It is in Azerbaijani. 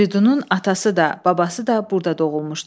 Firidunun atası da, babası da burda doğulmuşdu.